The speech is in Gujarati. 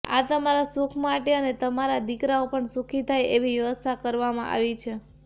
આ તમારા સુખ માટે અને તમારા દિકરાઓ પણ સુખી થાય એવી વ્યવસ્થા કરવામાં આવી છે